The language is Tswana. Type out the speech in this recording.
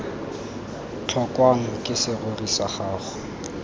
tlhokwang ke serori sa gago